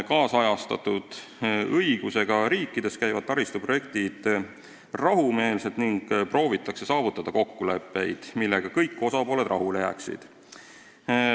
Kaasajastatud õigusega riikides käib taristuprojektide elluviimine rahumeelselt ning proovitakse saavutada kokkuleppeid, millega kõik osapooled rahule jääksid.